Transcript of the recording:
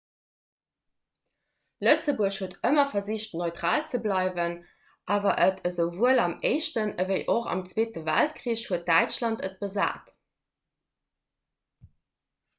lëtzebuerg huet ëmmer versicht neutral ze bleiwen awer et esouwuel am éischten ewéi och am zweete weltkrich huet däitschland et besat